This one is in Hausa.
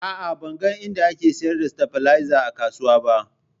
A'a, ban ga inda ake sayar da stabilizer a kasuwa ba